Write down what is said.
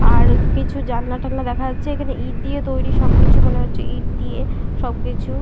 আর কিছু জানালা টানলা দেখা যাচ্ছে । এখানে ইঁট দিয়ে তৈরি সবকিছু মনে হচ্ছে ইঁট দিয়ে সবকিছু--